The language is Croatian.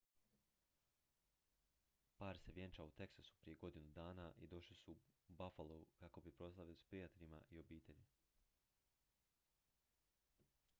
par se vjenčao u teksasu prije godinu dana i došli su u buffalo kako bi proslavili s prijateljima i obitelji